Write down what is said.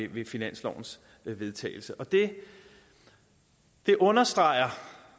ved finanslovens vedtagelse det det understreger